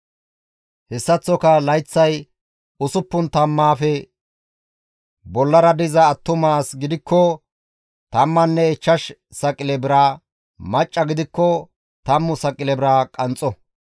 Hessaththoka layththay usuppun tammaafe bollara diza attuma as gidikko tammanne ichchash saqile bira, macca gidikko tammu saqile bira qanxxo.